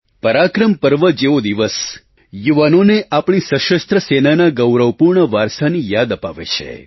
પરાક્રમ પર્વ જેવો દિવસ યુવાઓને આપણી સશસ્ત્ર સેનાના ગૌરવપૂર્ણ વારસાની યાદ અપાવે છે